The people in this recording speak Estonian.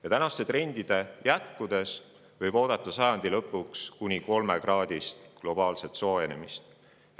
Kui tänased trendid jätkuvad, võib sajandi lõpuks oodata kuni 3-kraadist globaalset soojenemist.